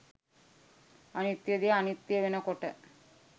අනිත්‍ය දේ අනිත්‍ය වෙන කොට